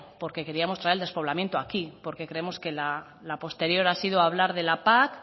porque queríamos traer el despoblamiento aquí porque creemos que la posterior ha sido hablar de la pac